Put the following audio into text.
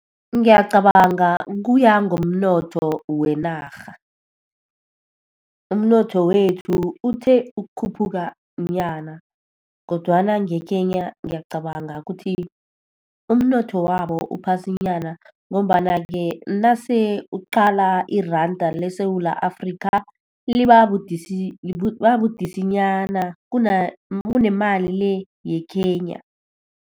Ngiyacabanga kuya ngomnotho wenarha. Umnotho wethu uthe ukukhuphuka nyana, kodwana ngeKenya ngiyacabanga ukuthi umnotho wabo uphasinyana. Ngombana-ke nase uqala iranda leSewula Afrika, liba budisanyana kunemali le yeKenya.